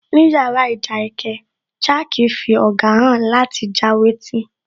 Ní yàrá ìjà ẹkẹ, Jake fí ọ̀gá hàn láti já wé tí